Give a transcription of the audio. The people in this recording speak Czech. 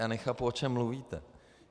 Já nechápu, o čem mluvíte.